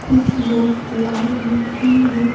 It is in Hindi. कुछ लोग लाइन मै क्वे मै।